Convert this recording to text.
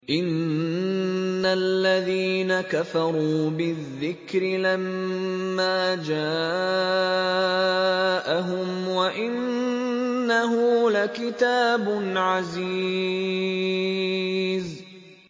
إِنَّ الَّذِينَ كَفَرُوا بِالذِّكْرِ لَمَّا جَاءَهُمْ ۖ وَإِنَّهُ لَكِتَابٌ عَزِيزٌ